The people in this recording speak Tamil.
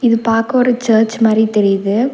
இது பாக்க ஒரு சர்ச் மாரி தெரியிது.